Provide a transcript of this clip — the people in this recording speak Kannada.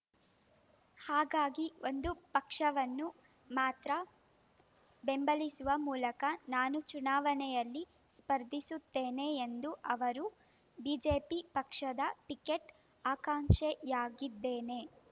ಹಾಗಾಗಿ ಒಂದು ಪಕ್ಷವನ್ನು ಮಾತ್ರ ಬೆಂಬಲಿಸುವ ಮೂಲಕ ನಾನು ಚುನಾವಣೆಯಲ್ಲಿ ಸ್ಪರ್ಧಿಸುತ್ತೇನೆ ಎಂದು ಅವರು ಬಿಜೆಪಿ ಪಕ್ಷದ ಟಿಕೆಟ್ ಆಕಾಂಕ್ಷಿಯಾಗಿದ್ದೇನೆ